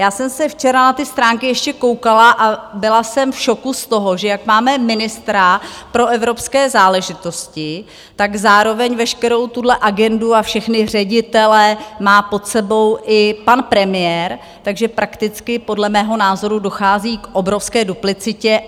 Já jsem se včera na ty stránky ještě koukala a byla jsem v šoku z toho, že jak máme ministra pro evropské záležitosti, tak zároveň veškerou tuhle agendu a všechny ředitele má pod sebou i pan premiér, takže prakticky podle mého názoru dochází k obrovské duplicitě.